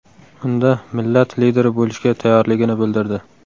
Unda millat lideri bo‘lishga tayyorligini bildirdi.